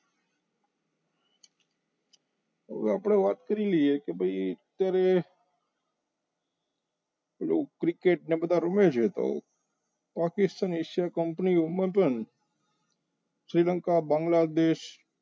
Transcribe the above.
હવે આપણે વાત કરી લઈએ કે ભાઈ અત્યારે પેલો ક્રિકેટ ને બધા રમે છે તો location asia company ઓ શ્રીલંકા બાંગ્લાદેશ